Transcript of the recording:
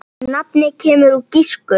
Nafnið kemur úr grísku